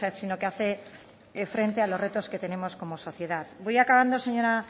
sino que hace frente a los retos que tenemos como sociedad voy acabando señora